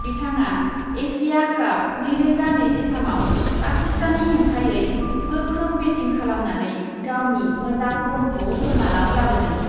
बिथाङा एसिया काप नैरोजा नैजिथामआव पाकिस्ताननि हेंथायै गोख्रों बेटिं खालामनानै गावनि मोजां फर्मखौ फोरमानआव लाबोदों।